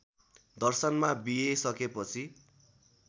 दर्शनमा बीए सकेपछि